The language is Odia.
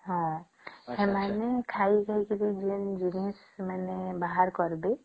ହଁ ସେମାନେ ଖାଇ ଖାଇ କିରି ଯୋଉ ବାହାର କରିବେ